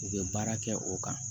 U bɛ baara kɛ o kan